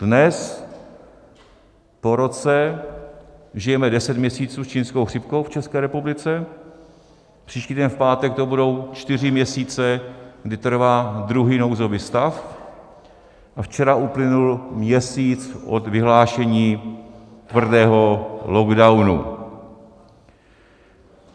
Dnes, po roce, žijeme deset měsíců s čínskou chřipkou v České republice, příští týden v pátek to budou čtyři měsíce, kdy trvá druhý nouzový stav a včera uplynul měsíc od vyhlášení tvrdého lockdownu.